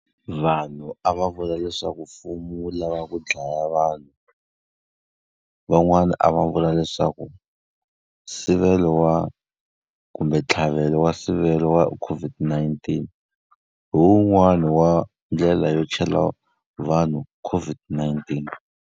Vanhu a va vula leswaku mfumo wu lavaka ku dlaya vanhu. Van'wani a va vula leswaku nsivelo wa kumbe ntlhavelo wa nsivelo wa COVID-19 hi wun'wani wa ndlela yo chela vanhu COVID-19.